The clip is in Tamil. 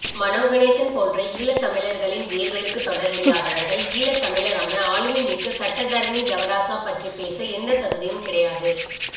மனோ கணேசன் போன்ற ஈழத்தமிழர்களின் வேர்களுக்கு தொடர்பில்லாதவர்கள் ஈழத்தமிழரான ஆழுமைமிக்க சட்டத்தரணி தவராசா பற்றி பேச எந்த தகுதியும் கிடையாது